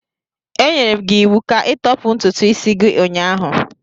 Enyere m gị iwu ka ịtọpụ ntutu isi gị ụnyahụ.